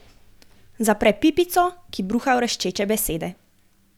Zapre pipico, ki bruha vreščeče besede.